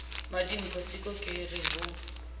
mmadimpho siko ke re ho